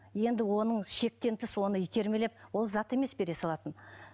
енді оның шектен тыс оны итермелеп ол зат емес ол бере салатын